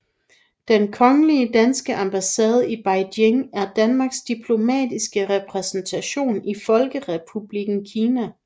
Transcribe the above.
Den Kongelige Danske Ambassade i Beijing er Danmarks diplomatiske repræsentation i Folkerepublikken Kina